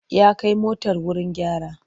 Ya kai motar wuri gyara.